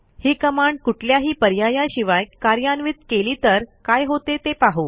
ही command कुठल्याही पर्यायाशिवाय कार्यान्वित केली तर काय होते ते पाहू